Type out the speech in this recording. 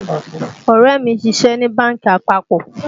Ọ̀rẹ́ mi ń ṣiṣe ní bánkì àpapọ̀